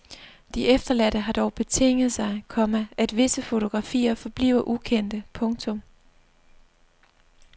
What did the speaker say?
De efterladte har dog betinget sig, komma at visse fotografier forbliver ukendte. punktum